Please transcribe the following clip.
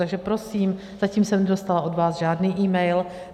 Takže prosím, zatím jsem nedostala od vás žádný email.